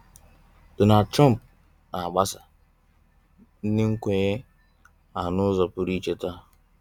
Donald Trump n'agbasa ụdị nkwenye a n'ụzọ pụrụ iche taa.